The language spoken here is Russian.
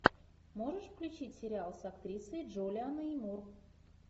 можешь включить сериал с актрисой джулианной мур